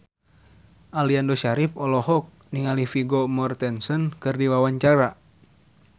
Aliando Syarif olohok ningali Vigo Mortensen keur diwawancara